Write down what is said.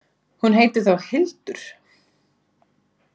Hún heitir þá Hildur!